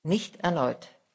Nicht erneut.